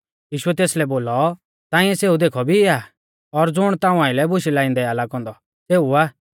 यीशुऐ तेसलै बोलौ ताइंऐ सेऊ देखौ भी आ और ज़ुण ताऊं आइलै बुशै लाइंदै आ लागौ औन्दौ सेऊ आ